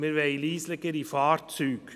Wir wollen leisere Fahrzeuge.